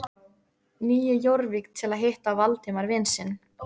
Nýju Jórvík til að hitta Valdimar vin sinn.